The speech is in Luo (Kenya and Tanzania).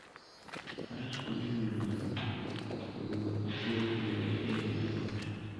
Faras konyo e miyo ng'ato owuoth mapiyo kendo e yo mayot.